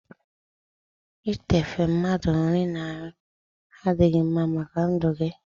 itife mmadụ nri na nri adịghị mma màkà ndụ gị.